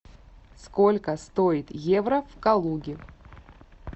сколько стоит евро в калуге